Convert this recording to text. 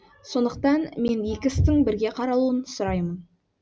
сондықтан мен екі істің бірге қаралуын сұраймын